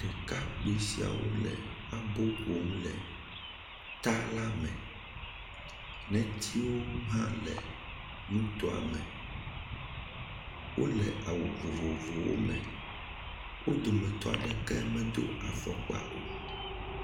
Ɖekakpoe siawo le abo ƒom le ta la me. Netiwo hã le nutoa me, wole awu vovovowo me, wo dometɔ aɖeke medo afɔkpa o.